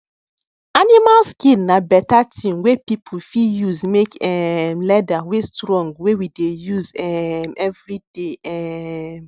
animal skin na better thing wey people fit use make um leather wey strong wey we dey use um everyday um